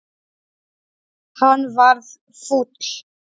Hann varð fúll.